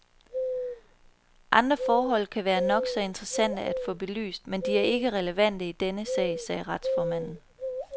Andre forhold kan være nok så interessante at få belyst, men de er ikke relevante i denne sag, sagde retsformanden.